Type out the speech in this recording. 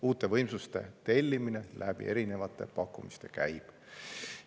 Uute võimsuste tellimine erinevate pakkumiste abil käib.